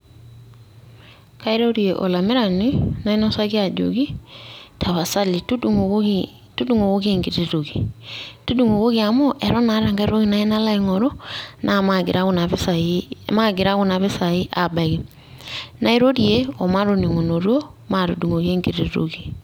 Kairorie olamirani, nainosaki ajoki, tapasali tudung'okoki enkiti toki. Tudung'okoki amu, eton aata enkae toki nayieu nalo aing'oru, na magira kuna pisai abaki. Nairorie omatoning'unoto, maatudung'oki enkiti toki.